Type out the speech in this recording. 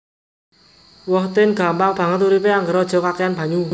Who tin gampang banget uripe angger aja kakehan banyu